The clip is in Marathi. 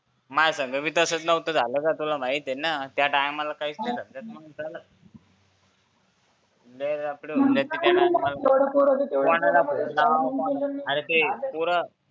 माह संग बी तसंच नव्हतं झालं का तुला माहितीये त्या टायमाला काहीच समजत नव्हतं लय लफडे झाले होते कोणाला फोन लाव ते पोर